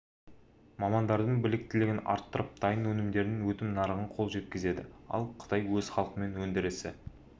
мамандардың біліктілігін арттырып дайын өнімдердің өтім нарығына қол жеткізеді ал қытай өз халқы мен өндірісі